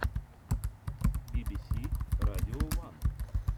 би би си радио ван